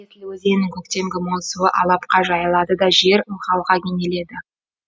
есіл өзенінің көктемгі мол суы алапқа жайылады да жер ылғалға кенеледі